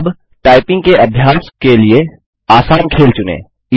अब टाइपिंग के अभ्यास के लिए आसान खेल चुनें